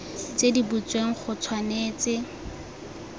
tse di butsweng go tshwanetse